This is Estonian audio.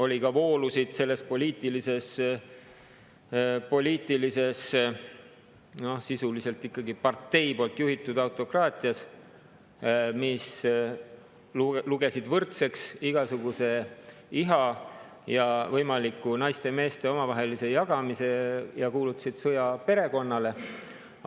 Oli ka voolusid selles poliitilises, sisuliselt ikkagi partei juhitud autokraatias, mis lugesid võrdseks igasuguse iha ja võimaliku naiste ja meeste omavahelise jagamise ning kuulutasid sõja perekonnale.